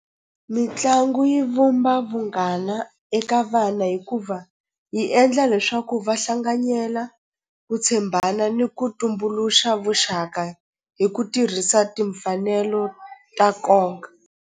Mitlangu yi vumba vunghana eka vana hikuva yi endla leswaku va hlanganyela ku tshembana ni ku tumbuluxa vuxaka hi ku tirhisa timfanelo ta nkoka.